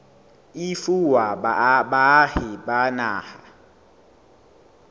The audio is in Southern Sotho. e fuwa baahi ba naha